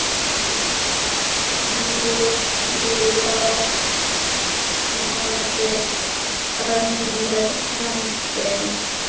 Nú losnaði önnur höndin.